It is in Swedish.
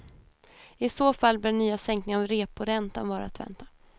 I så fall bör nya sänkningar av reporäntan vara att vänta.